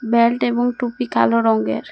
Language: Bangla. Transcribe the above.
বেল্ট এবং টুপি কালো রঙের--